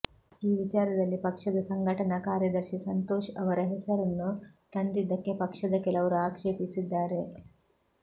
ಈ ವಿಚಾರದಲ್ಲಿ ಪಕ್ಷದ ಸಂಘಟನಾ ಕಾರ್ಯದರ್ಶಿ ಸಂತೋಷ್ ಅವರ ಹೆಸರನ್ನು ತಂದಿದ್ದಕ್ಕೆ ಪಕ್ಷದ ಕೆಲವರು ಆಕ್ಷೇಪಿಸಿದ್ದಾರೆ